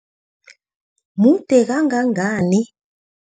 Mude kangangani?